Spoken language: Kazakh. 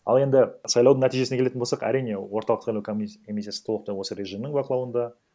ал енді сайлаудың нәтижесіне келетін болсақ әрине орталық сайлау комиссиясы толықтай осы режимнің бақылауында